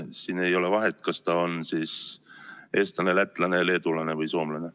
Siin ei ole vahet, kas ta on eestlane, lätlane, leedulane või soomlane.